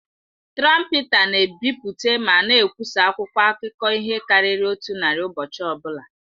Trọmpeta na-ebipụta ma na-ekwụsa akwụkwọ akụkọ ihe karịrị otu narị ụbọchị ọbụla.